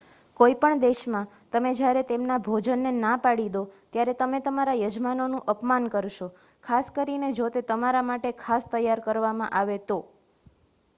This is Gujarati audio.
કોઈ પણ દેશમાં તમે જ્યારે તેમના ભોજનને ના પાડી દો ત્યારે તમે તમારા યજમાનોનું અપમાન કરશો ખાસ કરીને જો તે તમારા માટે ખાસ તૈયાર કરવામાં આવે તો